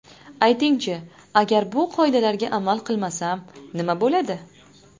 Aytingchi, agar bu qoidalarga amal qilmasam, nima bo‘ladi?